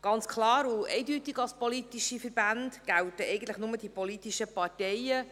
Ganz klar und eindeutig als politische Verbände gelten eigentlich nur die politischen Parteien.